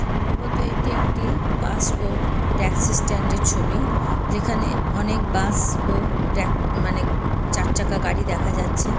সম্ভবত এটি একটি বাস ও ট্যাক্সি স্ট্যান্ড এর ছবি যেখানে অনেক বাস ও ট্যাক মানেচারচাকা গাড়ি দেখা যাচ্ছে।